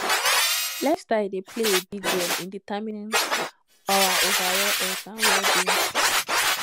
lifestyle dey play a big role in determining our overall health and wellbeing